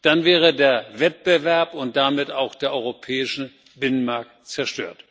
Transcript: Dann wäre der Wettbewerb und damit auch der europäische Binnenmarkt zerstört.